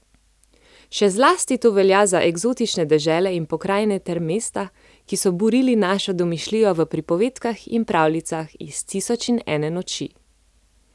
Še zlasti to velja za eksotične dežele in pokrajine ter mesta, ki so burili našo domišljijo v pripovedkah in pravljicah iz Tisoč in ene noči.